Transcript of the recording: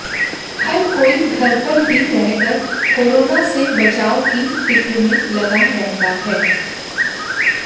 हर कोई घर पर ही रहकर कोरोना से बचाव की फिक्र में लगा रहता है